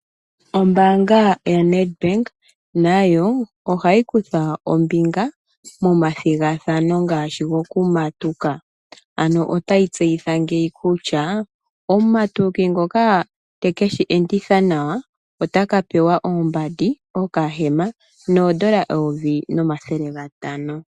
Ombaanga yo NET Bank nayo ohayi kutha ombinga momathigathano ngaashi gokumatuka. Ano otayi tseyitha ngeyi kutya omumatuki ngoka teke shi enditha nawa otaka pewa oombandi, okahema noodola Eyovi nomathele gatano.